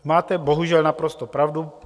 Máte bohužel naprosto pravdu.